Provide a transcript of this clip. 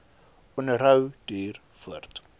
onderhou duur voort